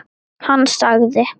Hann sagði